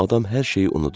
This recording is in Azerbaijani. Adam hər şeyi unudur.